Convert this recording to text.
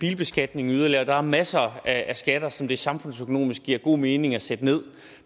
bilbeskatningen yderligere og der er masser af skatter som det samfundsøkonomisk giver god mening at sætte ned